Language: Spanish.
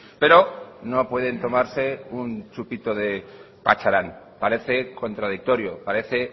pero no pueden tomarse un chupito de pacharán parece contradictorio parece